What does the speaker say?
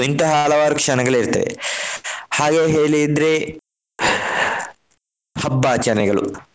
ಇಂತಹ ಹಲವಾರು ಕ್ಷಣಗಳು ಇರ್ತದೆ. ಹಾಗೆಯೇ ಹೇಳಿದ್ರೆ ಹಬ್ಬ ಆಚರಣೆಗಳು.